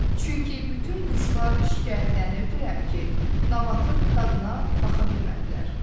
Çünki bütün quşlar şikayətlənirdilər ki, nabatın dadına baxa bilmədilər.